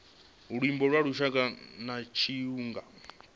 luimbo lwa lushaka na tshiangu